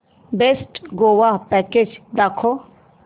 best Goa package दाखव